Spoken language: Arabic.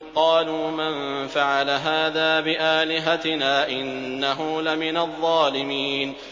قَالُوا مَن فَعَلَ هَٰذَا بِآلِهَتِنَا إِنَّهُ لَمِنَ الظَّالِمِينَ